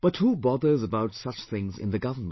But who bothers about such things in the government